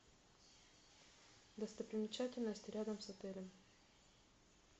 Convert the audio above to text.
достопримечательности рядом с отелем